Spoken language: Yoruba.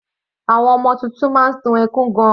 Àwọn ọmọ titun máa ń sun ẹkún gan-an.